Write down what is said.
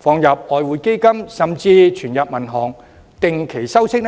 放外匯基金，甚至存入銀行定期收息？